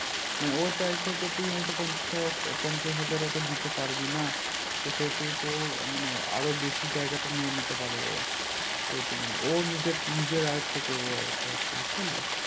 মানে ও চাইছে যে তুই হয় তো পঞ্চাশ টাকা পঞ্চাশ হাজার ওকে দিতে পারবি না তো সেতু তোর মানে আরো বেশি জায়গা টা নিয়ে নিতে পারবে ও তাই তো মানে ও নিজের নিজের আয়ত্ত করবে ওটা তু বুঝতে পারলি